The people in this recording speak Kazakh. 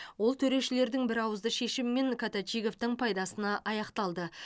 ол төрешілердің бірауызды шешімімен коточиговтың пайдасына аяқталды